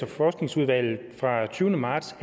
forskningsudvalget fra den tyvende marts